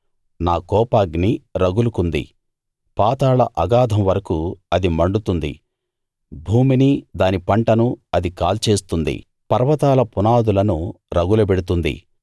నా కోపాగ్ని రగులుకుంది పాతాళ అగాధం వరకూ అది మండుతుంది భూమినీ దాని పంటనూ అది కాల్చేస్తుంది పర్వతాల పునాదులను రగులబెడుతుంది